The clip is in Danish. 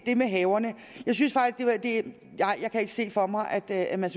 det med haverne jeg kan ikke se for mig at at man